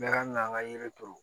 Mɛ an ka an ka yiri turu